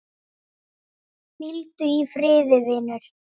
Hvíldu í friði vinur.